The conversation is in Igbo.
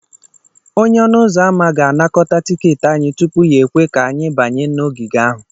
Onye ọnụ ụzọ ámá ga-anakọta tiketi anyị tupu ya ekwe ka anyị banye n'ogige ahụ.